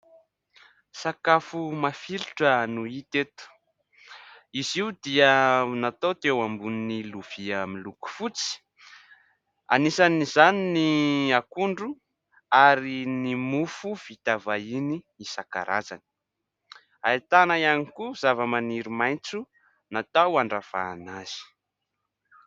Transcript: Sakafo mafilotra no hita eto. Izy io dia natao teo ambony vilia miloko fotsy, anisan'izany ny akondro ary ny mofo vita vahiny isan-karazany. Ahitana ihany koa zavamaniry maitso, natao andravahana azy.